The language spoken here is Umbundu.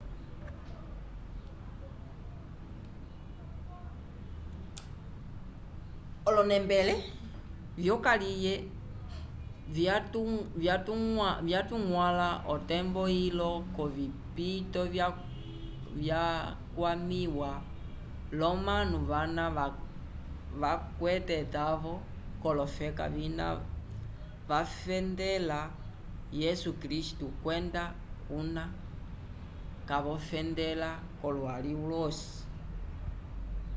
olonembele vyokaliye vyatuñgwãla otembo ilo yovipito vyakwamĩwa l'omanu vana kavakwetele etavo k'olofeka vina vafendela yesu kristu kwenda kuna kavofendela k'olwali lwosi